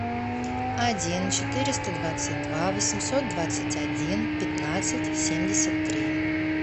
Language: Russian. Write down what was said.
один четыреста двадцать два восемьсот двадцать один пятнадцать семьдесят три